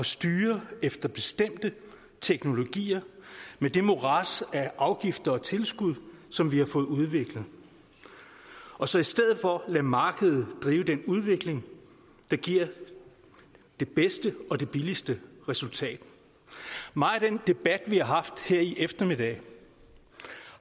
styre efter bestemte teknologier med det morads af afgifter og tilskud som vi har fået udviklet og så i stedet for lader markedet drive den udvikling der giver det bedste og det billigste resultat meget af den debat vi har haft her i eftermiddag